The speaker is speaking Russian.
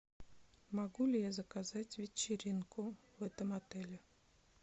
могу ли я заказать вечеринку в этом отеле